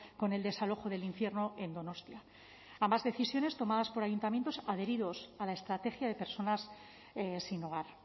con el desalojo del infierno en donostia ambas decisiones tomadas por ayuntamientos adheridos a la estrategia de personas sin hogar